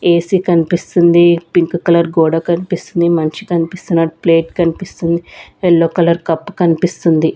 AC కనిపిస్తుంది pink colour గోడ కనిపిస్తుంది మనిషి కనిపిస్తున్నాడు ప్లేట్ కనిపిస్తుంది ఎల్లో కలర్ కప్ కనిపిస్తుంది.